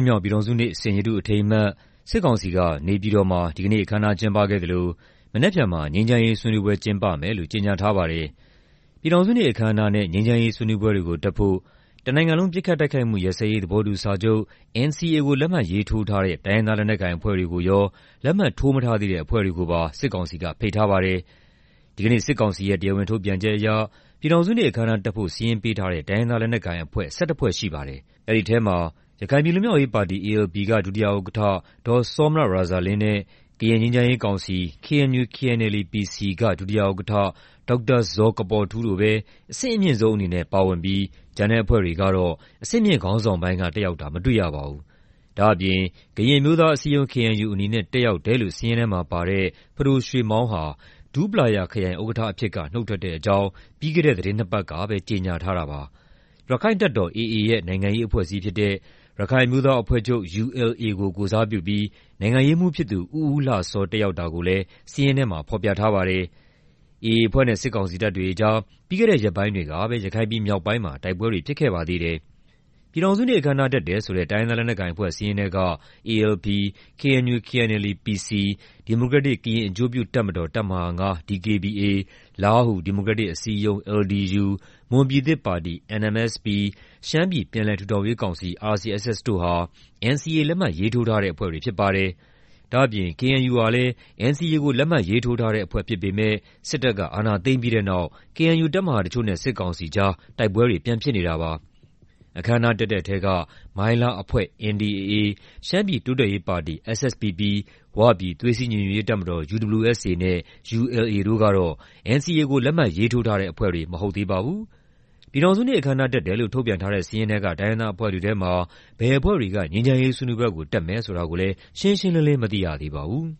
်မြောက် ပြည်ထောင်စုနေ့ စိန်ရတုအထိမ်းအမှတ် စစ်ကောင်စီက နေပြည်တော်မှာ ဒီကနေ့ အခမ်းအနား ကျင်းပခဲ့သလို မနက်ဖြန်မှာ ငြိမ်းချမ်းရေးဆွေးနွေးပွဲ ကျင်းပမယ်လို့ ကြေညာထားပါတယ်။ ပြည်ထောင်စုနေ့ အခမ်းအနားနဲ့ ငြိမ်းချမ်းရေး ဆွေးနွေးပွဲတွေကို တက်ဖို့ တနိုင်ငံလုံး ပစ်ခတ်တိုက်ခိုက်မှု ရပ်စဲရေး သဘောတူစာချုပ် (NCA) ကို လက်မှတ်ရေးထိုးထားတဲ့ တိုင်းရင်းသား လက်နက်ကိုင်အဖွဲ့တွေကိုရော လက်မှတ်ထိုးမထားသေးတဲ့ အဖွဲ့တွေကိုပါ စစ်ကောင်စီက ဖိတ်ထားပါတယ်။ ဒီကနေ့ စစ်ကောင်စီရဲ့ တရားဝင်ထုတ်ပြန်ချက်အရ ပြည်ထောင်စုနေ့ အခမ်းအနားတက်ဖို့ စာရင်းပေးထားတဲ့ တိုင်းရင်းသား လက်နက်ကိုင်အဖွဲ့ ၁၁ ဖွဲ့ ရှိပါတယ်။ အဲဒီထဲမှာ ရခိုင်ပြည်လွတ်မြောက်ရေးပါတီ (ALP) က ဒုတိယဥက္ကဋ္ဌ ဒေါ်စောမြရာဇာလင်းနဲ့ ကရင်ငြိမ်းချမ်းရေးကောင်စီ (KNU/KNLA-PC) က ဒုတိယဥက္ကဋ္ဌ ဒေါက်တာဇော်ကပေါ်ထူးတို့ပဲ အဆင့်အမြင့်ဆုံးအနေနဲ့ ပါဝင်ပြီး ကျန်တဲ့အဖွဲ့တွေကတော့ အဆင့်မြင့်ခေါင်းဆောင်ပိုင်းက တက်ရောက်တာ မတွေ့ရပါဘူး။ ဒါ့အပြင် ကရင်အမျိုးသားအစည်းအရုံး (KNU) အနေနဲ့ တက်ရောက်တယ်လို့ စာရင်းထဲမှာပါတဲ့ ပဒိုရွှေမောင်းဟာ ဒူးပလာယာခရိုင် ဥက္ကဋ္ဌအဖြစ်က နုတ်ထွက်တဲ့အကြောင်း ပြီးခဲ့ဲတဲ့ သီတင်းနှစ်ပတ်ကပဲ ကြေညာထားတာပါ။ ရက္ခိုင့်တပ်တော် AA ရဲ့ နိုင်ငံရေးအဖွဲ့အစည်းဖြစ်တဲ့ ရခိုင်အမျိုးသားအဖွဲ့ချုပ် (ULA) ကို ကိုယ်စားပြုပြီး နိုင်ငံရေးမှူးဖြစ်သူ ဦးဦးလှစော တက်ရောက်တာကိုလည်း စာရင်းထဲမှာ ဖော်ပြထားပါတယ်။ AA အဖွဲ့နဲ့ စစ်ကောင်စီတပ်တွေအကြား ပြီးခဲ့တဲ့ရက်ပိုင်းတွေကပဲ ရခိုင်ပြည်မြောက်ပိုင်းမှာ တိုက်ပွဲတွေ ဖြစ်ခဲ့ပါသေးတယ်။ ပြည်ထောင်စုနေ့ အခမ်းအနား တက်တယ်ဆိုတဲ့ တိုင်းရင်းသား လက်နက်ကိုင်အဖွဲ့ စာရင်းထဲက ALP၊ KNU/KNLA-PC၊ ဒီမိုကရက်တစ် ကရင်အကျိုးပြုတပ်မတော် တပ်မဟာ ၅ (DKBA)၊ လားဟူ ဒီမိုကရက်တစ်အစည်းအရုံး (LDU)၊ မွန်ပြည်သစ်ပါတီ (NMSP)၊ သျှမ်းပြည်ပြန်လည်ထူထောင်ရေးကောင်စီ (RCSS) တို့ဟာ NCA လက်မှတ်ရေးထိုးထားတဲ့ အဖွဲ့တွေ ဖြစ်ပါတယ်။ ဒါ့အပြင် KNU ဟာလည်း NCA ကို လက်မှတ်ရေးထိုးထားတဲ့အဖွဲ့ ဖြစ်ပေမယ့် စစ်တပ်က အာဏာသိမ်းပြီးတဲ့နောက် KNU တပ်မဟာတချို့နဲ့ စစ်ကောင်စီကြား တိုက်ပွဲတွေ ပြန်ဖြစ်နေတာပါ။ အခမ်းအနားတက်တဲ့ထဲက မိုင်းလားအဖွဲ့ (NDAA)၊ ရှမ်းပြည်တိုးတက်ရေးပါတီ (SSPP)၊ ဝပြည် သွေးစည်းညီညွတ်ရေးတပ်မတော် (UWSA) နဲ့ ULA တို့ကတော့ NCA ကို လက်မှတ်ရေးထိုးထားတဲ့ အဖွဲ့တွေ မဟုတ်သေးပါဘူး။ ပြည်ထောင်စုနေ့ အခမ်းအနား တက်တယ်လို့ ထုတ်ပြန်ထားတဲ့ စာရင်းထဲက တိုင်းရင်းသားအဖွဲ့တွေထဲမှာ ဘယ်အဖွဲ့တွေက ငြိမ်းချမ်းရေးဆွေးနွေးပွဲကို တက်မယ်ဆိုတာတော့ ရှင်းရှင်းလင်းလင်း မသိရသေးပါဘူး